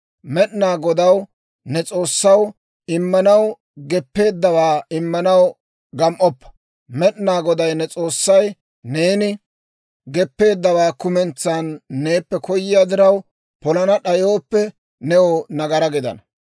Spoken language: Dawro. «Med'inaa Godaw, ne S'oossaw, immanaw geppeeddawaa immanaw gam"oppa. Med'inaa Goday ne S'oossay neeni geppeeddawaa kumentsan neeppe koyiyaa diraw, polana d'ayooppe, new nagaraa gidana.